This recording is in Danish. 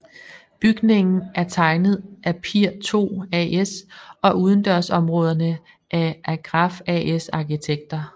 Bygningen er tegnet af Pir II AS og udendørsområderne af Agraff AS arkitekter